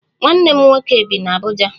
Nwanne m nwoke bi n'Abuja